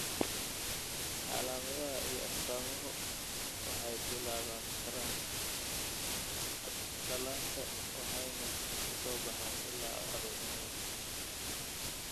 Calaamadaha iyo astaamuhu waxay bilaaban karaan dhallaanka waxayna ka soo baxaan ilaa carruurnimada.